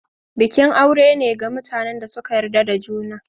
Bikin aure ne ga mutanen da suka yarda da juna.